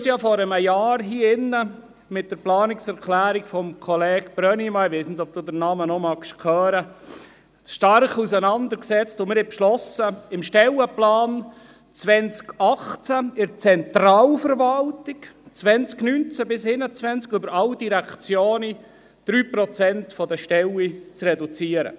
Wir haben uns ja hier im Rat vor einem Jahr mit der Planungserklärung Brönnimann – ich weiss nicht, ob Sie Ihren Namen noch hören mögen – stark auseinandergesetzt und beschlossen, im Stellenplan 2018 in der Zentralverwaltung auf alle Direktionen verteilt von 2019 bis 2021 die Stellen um 3 Prozent zu reduzieren.